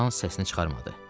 Loran səsini çıxarmadı.